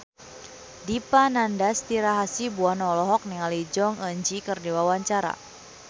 Dipa Nandastyra Hasibuan olohok ningali Jong Eun Ji keur diwawancara